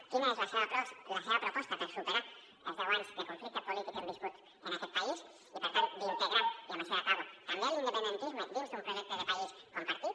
quina és la seva proposta per superar els deu anys de conflicte polític que hem viscut en aquest país i per tant d’integrar i amb això ja acabo també l’independentisme dins d’un projecte de país compartit